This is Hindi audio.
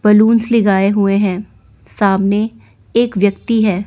बलूंस लेगाए हुए हैं सामने एक व्यक्ति है।